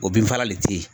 O bin fagala le te yen